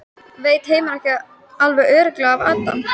Veit Heimir ekki alveg örugglega af Adam?